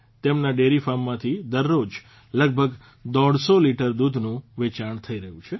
તેમના ડેરી ફાર્મમાંથી દરરોજ લગભગ દોઢસો લીટર દૂધનું વેચાણ થઇ રહ્યું છે